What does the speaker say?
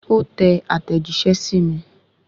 Ó tẹ àtẹ̀jíṣẹ́ sí mi